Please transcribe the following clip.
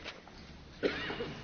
Frau Präsidentin!